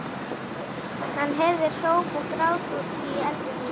Hann heyrði hróp og grát í eldhúsinu.